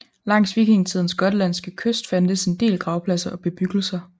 Langs vikingtidens gotlandske kyst fandtes en del gravpladser og bebyggelser